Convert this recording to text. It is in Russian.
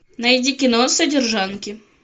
найди кино содержанки